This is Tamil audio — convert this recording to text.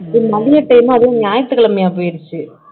மதிய time அதுவும் ஞாயிற்றுக்கிழமையா போயிடுச்சு